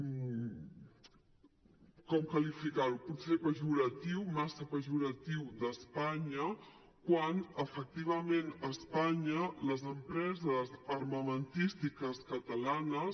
com qualificar lo potser pejoratiu massa pejoratiu d’espanya quan efectivament a espanya les empreses armamentístiques catalanes